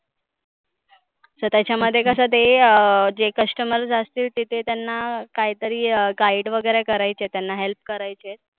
So त्याच्या मध्ये कसं ते अं जे customer असतील तिथे त्यांना काहितरी guide वगैरे करायचे आहे त्यांना help करायचे.